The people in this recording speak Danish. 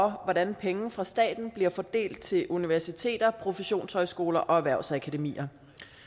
hvordan penge fra staten bliver fordelt til universiteter professionshøjskoler og erhvervsakademier